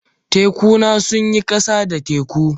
Tekuna sun yi ƙasa da teku.